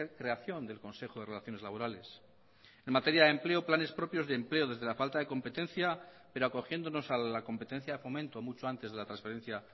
creación del consejo de relaciones laborales en materia de empleo planes propios de empleo desde la falta de competencia pero acogiéndonos a la competencia de fomento mucho antes de la transferencia